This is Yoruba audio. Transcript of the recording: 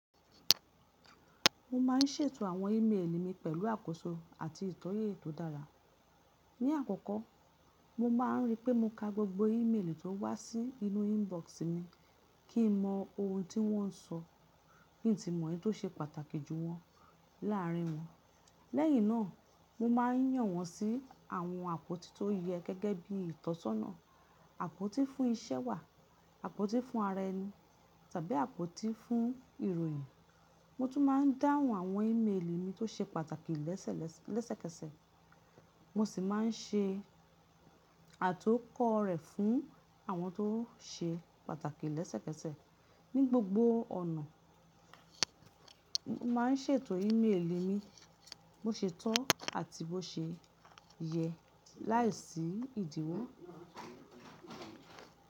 Mo má ń ṣètò àwọn ìméèlì mi pẹ̀lú àkóso àti ìtọ́yẹ tó dára. Ní àkọ́kọ́, mo má ń rí pé mo ka gbogbo ìméèlì tó wá sí inú inbox mi kí n mọ ohun tí wọ́n ń sọ kí n sí mọ èyí tó ṣe pàtàkì jù wọn láàrin wọn. Lẹ́yìn náà, mo má ń yàn wọ́n sí àwọn àpótí tó yẹ gẹ́gẹ́ bí ìtọ́sọ́nà. Àpótí fún iṣẹ́ wà, àpótí fún ara ẹni tàbí àpótí fún ìròyìn. Mo tún má ń dáhùn àwọn ìméèlì mi tó ṣe pàtàkì lẹ́sẹ̀kẹsẹ̀. Mo sì má ń ṣe àtọ́kọ̀ rẹ̀ fún àwọn tó ṣe pàtàkì lẹ́sẹ̀kẹsẹ̀. Ní gbogbo ọ̀nà, mo má ń ṣètò ìméèlì mi bó ṣe tọ́ àti bó ṣe yẹ láìsí ìdíwọ̀.